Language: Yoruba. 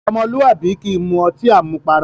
Ọmọlúwàbí kì í mu ọtí àmupara.